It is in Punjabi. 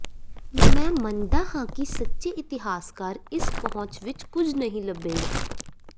ਮੈਂ ਮੰਨਦਾ ਹਾਂ ਕਿ ਸੱਚੇ ਇਤਿਹਾਸਕਾਰ ਇਸ ਪਹੁੰਚ ਵਿਚ ਕੁਝ ਨਹੀਂ ਲੱਭੇਗਾ